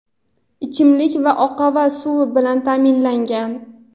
ichimlik va oqova suv bilan ta’minlangan.